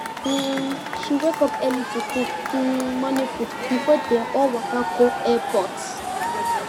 um she wake up early to cook um morning food before dem all waka go airport